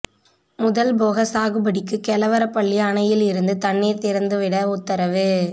முதல்போக சாகுபடிக்கு கெலவரப்பள்ளி அணையில் இருந்து தண்ணீர் திறந்து விட உத்தரவு